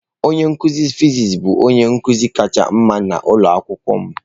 Onye nkuzi fịsịsị bụ onye nkuzi kacha mma n'ụlọ akwụkwọ m.